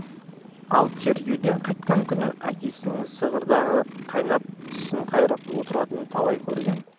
ал тергеуден қайтқан күні әкесінің зығырданы қайнап тісін қайрап отыратынын талай көрген